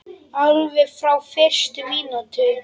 Alveg frá fyrstu mínútu.